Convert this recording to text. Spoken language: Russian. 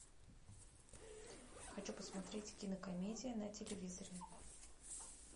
хочу посмотреть кинокомедия на телевизоре